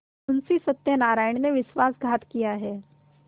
मुंशी सत्यनारायण ने विश्वासघात किया है